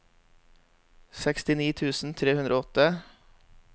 sekstini tusen tre hundre og åtte